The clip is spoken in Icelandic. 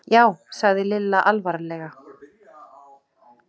Við höfðum stundum á orði að heimili okkar væri eins og lítill dýragarður.